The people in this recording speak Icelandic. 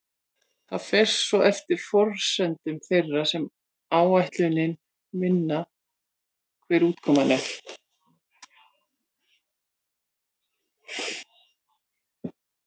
Það fer svo eftir forsendum þeirra sem áætlunina vinna hver útkoman er.